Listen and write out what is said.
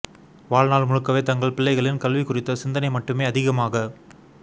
வாழ்நாள் முழுக்கவே தங்கள் பிள்ளைகளின் கல்வி குறித்த சிந்தனை மட்டுமே அதிகமாக